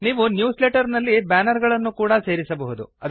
ನೀವು newsletter ನಲ್ಲಿ banner ಗಳನ್ನು ಕೂಡಾ ಸೇರಿಸಬಹುದು